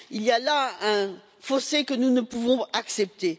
Il y a là un fossé que nous ne pouvons accepter.